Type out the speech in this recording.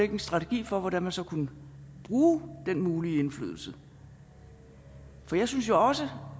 en strategi for hvordan man så kunne bruge den mulige indflydelse for jeg synes jo også